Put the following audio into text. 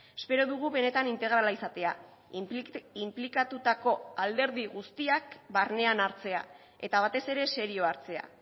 espero dugu benetan integrala izatea inplikatutako alderdi guztiak barnean hartzea eta batez ere serio hartzea